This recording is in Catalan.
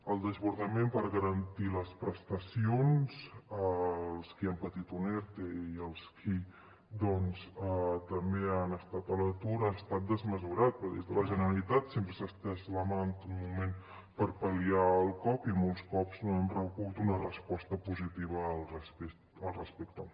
el desbordament per garantir les prestacions als qui han patit un erte i als qui també han estat a l’atur ha estat desmesurat però des de la generalitat sempre s’ha estès la mà en tot moment per pal·liar el cop i molts cops no hem rebut una resposta positiva al respecte